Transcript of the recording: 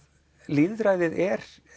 lýðræðið er